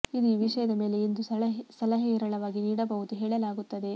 ಇದು ಈ ವಿಷಯದ ಮೇಲೆ ಎಂದು ಸಲಹೆ ಹೇರಳವಾಗಿ ನೀಡಬಹುದು ಹೇಳಲಾಗುತ್ತದೆ